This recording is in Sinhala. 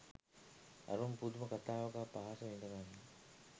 අරුම පුදුම කතාවක පහස විදගන්න